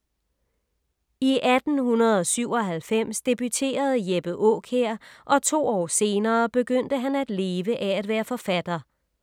I 1897 debuterede Jeppe Aakjær og to år senere begyndte han at leve af at være forfatter.